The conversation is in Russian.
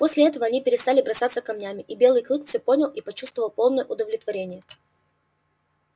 после этого они перестали бросаться камнями и белый клык всё понял и почувствовал полное удовлетворение